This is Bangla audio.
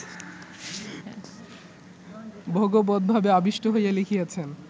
ভগবদ্ভাবে আবিষ্ট হইয়া লিখিয়াছেন